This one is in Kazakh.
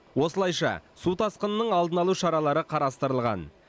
осылайша су тасқынының алдын алу шаралары қарастырылған